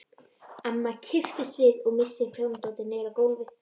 Amma kippist við og missir prjónadótið niður á gólf.